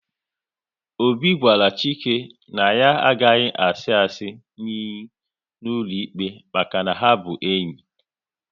Obi gwara Chike na ya agaghi asi asị n'iyi n'ụlọikpe maka na ha bụ enyi